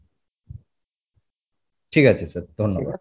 ঠিক আছে sir ধন্যবাদ